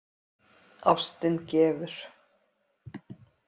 Ástin gefur.